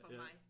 For mig